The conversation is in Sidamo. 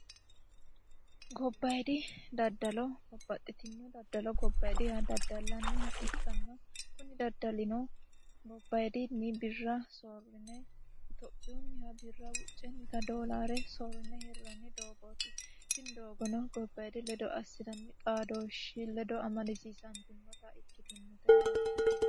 Gobbayidi daddallo daddallaniha ikkanna kuni daddalino birra soyirine itophiyuniha birra doolare soyirine hirranni doogoti tini doogono gobbayidi xaadoshi ledo assinanni amadisiisitinote yaate.